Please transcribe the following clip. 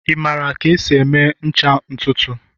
Ị maara ka esi eme ncha ntutu?